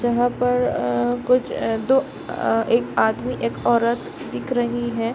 जगह पर कुछ दो एक आदमी एक औरत दिख रही है।